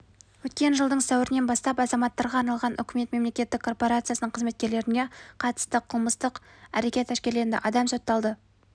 өткен жылдың сәуірінен бастап азаматтарға арналған үкімет мемлекеттік корпорациясының қызметкерлеріне қатысты қылмыстық әрекет әшкереленді адам сотталды